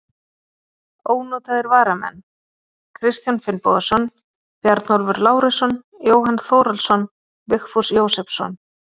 Ónotaðir varamenn: Kristján Finnbogason, Bjarnólfur Lárusson, Jóhann Þórhallsson, Vigfús Jósepsson.